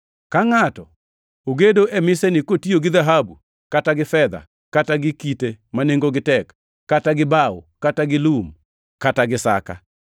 Ka ngʼato ogedo e miseni kotiyo gi dhahabu kata gi fedha kata gi kite ma nengogi tek; kata gi bao, kata gi lum, kata gi saka,